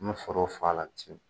N bɛ sɔrɔ o fa la